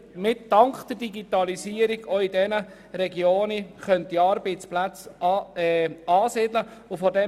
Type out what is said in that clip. Dies zeigt, dass man dank der Digitalisierung auch dort Arbeitsplätze ansiedeln könnte.